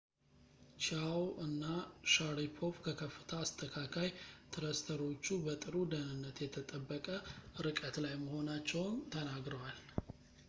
ቺያዎ እና ሻሪፖቭ ከከፍታ አስተካካይ ትረስተሮቹ በጥሩ ደህንነት የተጠበቀ ርቀት ላይ መሆናቸውን ተናግረዋል